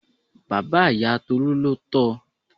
Bàbá ìyá Tolú ló tọ.